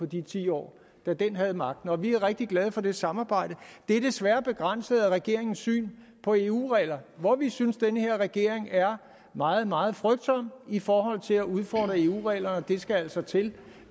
de ti år den havde magten vi er rigtig glade for det samarbejde det er desværre begrænset af regeringens syn på eu regler hvor vi synes at den her regering er meget meget frygtsom i forhold til at udfordre eu reglerne og det skal altså til